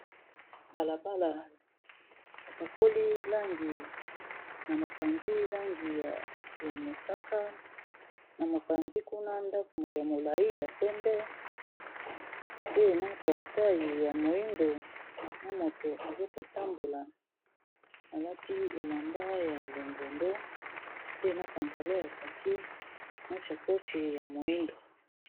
Balabala bapakoli langi na mopanzi langi ya mosaka na mopanzi kuna ndako ya molayi ya pembe pe na portai ya moyindo na moto azakotambola alati elamba ya longondo pe na pantalon ya kaki na chakochi ya moyindo.